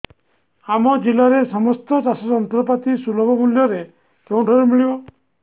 ଆମ ଜିଲ୍ଲାରେ ସମସ୍ତ ଚାଷ ଯନ୍ତ୍ରପାତି ସୁଲଭ ମୁଲ୍ଯରେ କେଉଁଠାରୁ ମିଳିବ